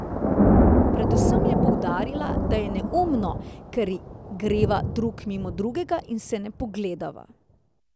Predvsem je poudarila, da je neumno, ker greva drug mimo drugega in se ne pogledava.